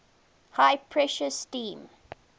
high pressure steam